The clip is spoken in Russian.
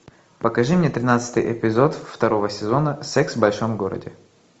покажи мне тринадцатый эпизод второго сезона секс в большом городе